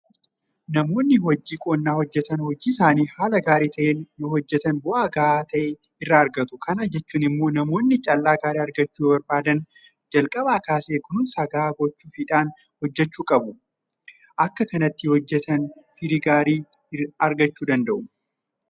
Namoonni hojio qonnaa hojjetan hojii isaanii haala gaarii ta'een yoohojjetan bu'aa gahaa ta'e irraa argatu. Kana jechuun immoo namoonni Callaa gaarii argachuu yoobarbaadan jalqabaa kaasee kunuunsa gahaa gochuufiidhaan hojjechuu qabu. Akkatti hojjetaniiru taanaan midhaan isaan oomishan firii gaarii godhata.